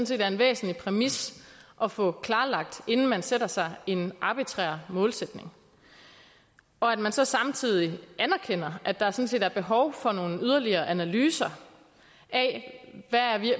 set er en væsentlig præmis at få klarlagt inden man sætter sig en arbitrær målsætning og at man så samtidig anerkender at der sådan set er behov for nogle yderligere analyser af